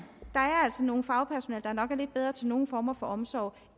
altså nogle fagpersoner der nok er lidt bedre til nogle former for omsorg